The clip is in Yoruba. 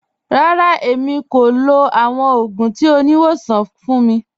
Rárá, èmi kò lọ̀ awọn ogun tí oníwọ̀sàn ogun fun mi.